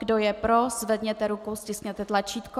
Kdo je pro, zvedněte ruku, stiskněte tlačítko.